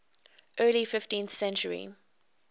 early fifteenth century